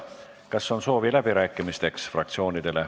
Kas fraktsioonidel on läbirääkimiste soovi?